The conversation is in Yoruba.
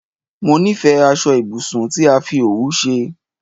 Mó nifẹ aṣọ ibùsùn tí a fi òwú ṣe